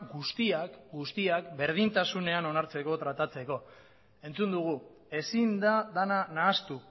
guztiak guztiak berdintasunean onartzeko tratatzeko entzun dugu ezin da dena nahastu